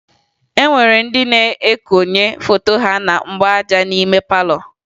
E nwere ndị na-ekonye foto ha na mgbaaja n'ime palọ ha